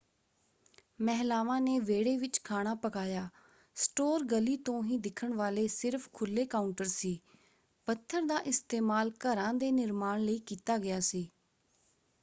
ਮਹਿਲਾਵਾਂ ਨੇ ਵਿਹੜੇ ਵਿੱਚ ਖਾਣਾ ਪਕਾਇਆ; ਸਟੋਰ ਗਲੀ ਤੋਂ ਹੀ ਦਿਖਣ ਵਾਲੇ ਸਿਰਫ਼ ਖੁੱਲ੍ਹੇ ਕਾਊਂਟਰ ਸੀ। ਪੱਥਰ ਦਾ ਇਸਤੇਮਾਲ ਘਰਾਂ ਦੇ ਨਿਰਮਾਣ ਲਈ ਕੀਤਾ ਗਿਆ ਸੀ।